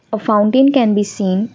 A fountain can be seen.